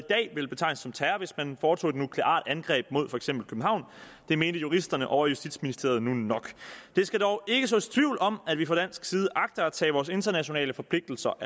ville betegnes som terror hvis man foretog et nukleart angreb mod for eksempel københavn det mente juristerne ovre i justitsministeriet nu nok der skal dog ikke sås tvivl om at vi fra dansk side agter at tage vores internationale forpligtelser